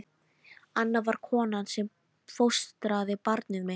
Anna var konan sem fóstraði barnið mitt.